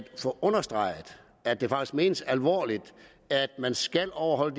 få understreget at det faktisk menes alvorligt at man skal overholde